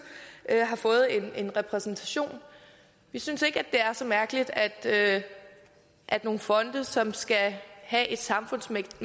har fået en repræsentation vi synes ikke det er så mærkeligt at at nogle fonde som skal have et samfundsmæssigt